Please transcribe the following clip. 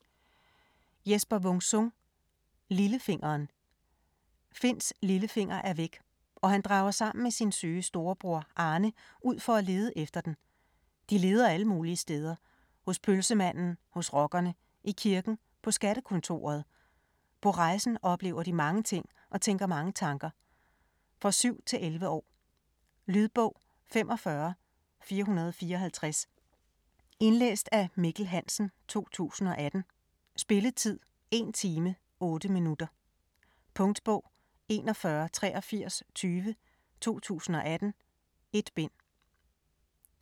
Wung-Sung, Jesper: Lillefingeren Finns lillefinger er væk, og han drager sammen med sin syge storebror Arne ud for at lede efter den. De leder alle mulige steder: hos pølsemanden, hos rockerne, i kirken, på skattekontoret. På rejsen oplever de mange ting og tænker mange tanker. For 7-11 år. Lydbog 45454 Indlæst af Mikkel Hansen, 2018. Spilletid: 1 time, 8 minutter. Punktbog 418320 2018. 1 bind.